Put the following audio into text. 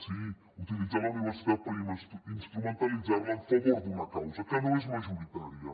sí utilitzar la universitat per instrumentalitzar la a favor d’una causa que no és majoritària